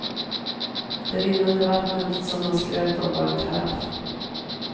Det rinnande vattnet som man skröt om var en karaff.